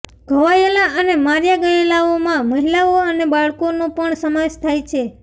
ઘવાયેલા અને માર્યા ગયેલાઓમાં મહિલાઓ અને બાળકોનો પણ સમાવેશ થાય છે